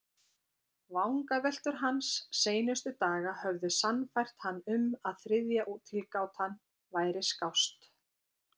Vangaveltur hans seinustu daga höfðu sannfært hann um að þriðja tilgátan væri skást.